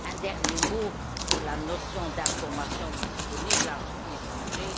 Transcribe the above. Un dernier mot sur la notion d'informations disponibles à échanger.